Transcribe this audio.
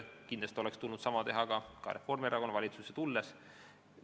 Kindlasti oleks tulnud sama teha ka Reformierakonnal valitsusse tulles.